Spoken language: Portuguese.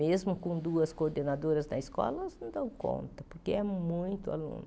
Mesmo com duas coordenadoras na escola, elas não dão conta, porque é muito aluno.